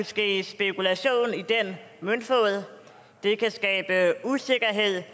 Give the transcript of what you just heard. ske spekulation i den møntfod det kan skabe usikkerhed